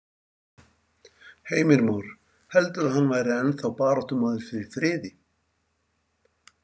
Heimir Már: Heldurðu að hann væri ennþá baráttumaður fyrir friði?